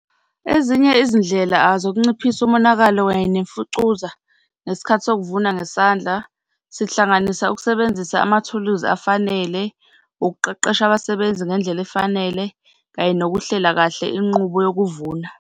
Ezinye izindlela zokunciphisa umonakalo kanye nemfucuza ngesikhathi sokuvuna ngesandla, sihlanganisa ukusebenzisa amathuluzi afanele, ukuqeqesha abasebenzi ngendlela efanele, kanye nokuhlela kahle inqubo nokuvuna.